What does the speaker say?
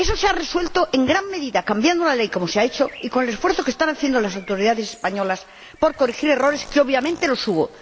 Eso se ha resuelto, en gran medida, cambiando una ley como se ha hecho y con el esfuerzo que están realizando las autoridades españolas por corregir errores que, obviamente, se han cometido.